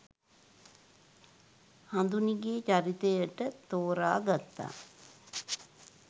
හඳුනිගේ චරිතයට තෝරාගත්තා